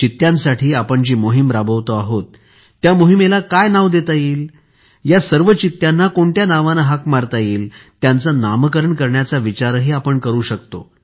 चित्त्यांसाठी आपण जी मोहिम राबवतो आहोत त्या मोहिमेला काय नाव देता येईल या सर्व चित्यांना कोणत्या नावाने हाक मारता येईल त्यांचे नामकरण करायचा विचारही आपण करू शकतो